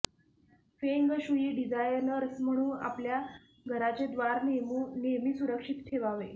फेंग shui designers म्हणू आपल्या घराचे द्वार नेहमी सुरक्षीत ठेवावे